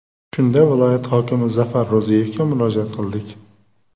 Shunda viloyat hokimi Zafar Ro‘ziyevga murojaat qildik.